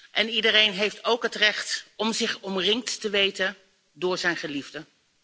En iedereen heeft ook het recht om zich omringd te weten door zijn geliefden.